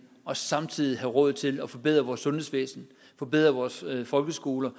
og samtidig have råd til at forbedre vores sundhedsvæsen forbedre vores folkeskoler